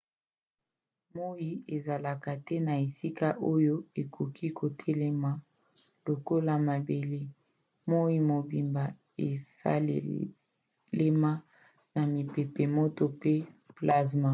moi ezalaka te na esika oyo okoki kotelema lokola mabele. moi mobimba esalema na mipepe moto pe plazma